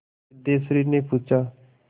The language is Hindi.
सिद्धेश्वरीने पूछा